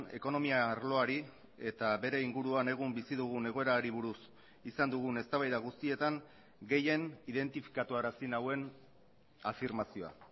ekonomia arloari eta bere inguruan egun bizi dugun egoerari buruz izan dugun eztabaida guztietan gehien identifikatuarazi nauen afirmazioa